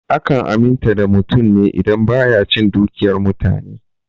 Akan aminta da mutum ne idan baya cin dukiyar mutane.